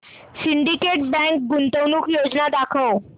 Syndicate Bank गुंतवणूक योजना दाखव